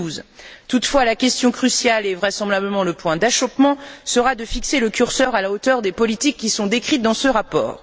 2012. Toutefois, la question cruciale, et vraisemblablement la pierre d'achoppement, sera de fixer le curseur à la hauteur des politiques qui sont décrites dans ce rapport.